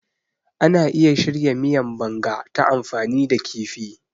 Ana iya shirya miyan Banga ta amfani da kifi.